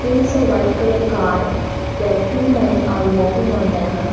it is a white colour car where two men are working on them.